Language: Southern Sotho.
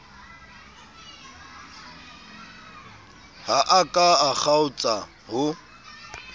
ha a ka kgaotsa ho